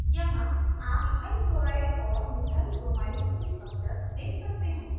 यहाँ आप ethyl chloride और मिथाइल ब्रोमाइड के structures देख सकते हैं